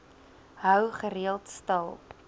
hou gereeld stil